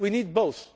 We need both.